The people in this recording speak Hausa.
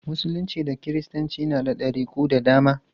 Musulunci da kiristanci na da ɗariku da dama.